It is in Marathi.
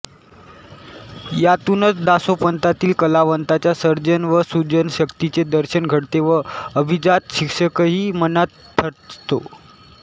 यातूनच दासोपंतांतील कलावंताच्या सर्जन व सृजनशक्तीचे दर्शन घडते व अभिजात शिक्षकही मनात ठसतो